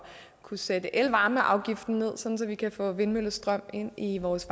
kunne sætte elvarmeafgiften ned så vi kan få vindmøllestrøm ind i vores